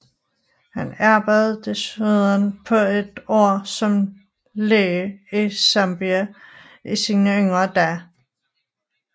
Han arbejdede desuden et par år som læge i Zambia i sine yngre dage